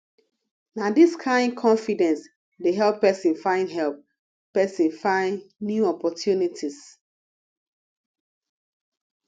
na dis kain confidence dey help pesin find help pesin find new opportunities